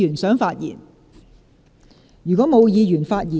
是否有議員想發言？